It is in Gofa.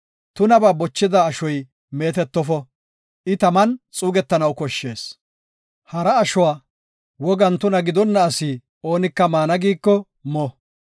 Tunabaa bochida ashoy meetetofo; I taman xuugetanaw koshshees. Hara ashuwa wogan tuna gidonna asi oonika maana giiko mo.